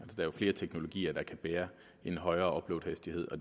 er jo flere teknologier der kan bære en højere uploadhastighed og